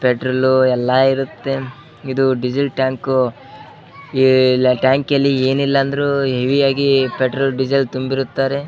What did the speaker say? Petrol ಎಲ್ಲ ಇರುತ್ತೆ ಇದು ಡೀಸೆಲ್ ಟ್ಯಾಂಕ್ ಈ ಟ್ಯಾಂಕಲ್ಲಿ ಏನಿಲ್ಲ ಅಂದ್ರು ಹೆವಿ ಆಗಿ ಪೆಟ್ರೋಲ್ ಡಿಸೇಲ್ ತುಂಬಿರುತ್ತಾರೆ.